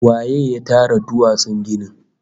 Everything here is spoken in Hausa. Waye ya tara duwatsun ginin?